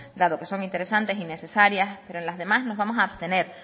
dado que son interesantes y necesarias pero en las demás nos vamos a abstener